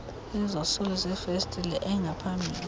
izosuli zefesitile engaphambili